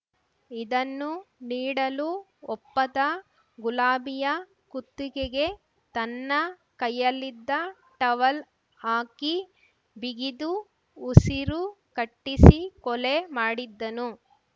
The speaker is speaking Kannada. ಇದನ್ನು ನೀಡಲು ಒಪ್ಪದ ಗುಲಾಬಿಯ ಕುತ್ತಿಗೆಗೆ ತನ್ನ ಕೈಯಲ್ಲಿದ್ದ ಟವಲ್ ಹಾಕಿ ಬಿಗಿದು ಉಸಿರು ಕಟ್ಟಿಸಿ ಕೊಲೆ ಮಾಡಿದ್ದನು